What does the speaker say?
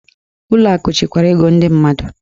Ụlọ akụ chekwara ego ndị mmadụ.